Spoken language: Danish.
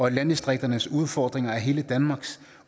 at landdistrikternes udfordringer er hele danmarks